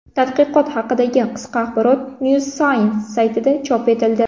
Tadqiqot haqidagi qisqa axborot New Scientist saytida chop etildi .